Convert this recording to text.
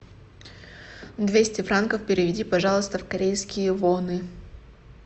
двести франков переведи пожалуйста в корейские воны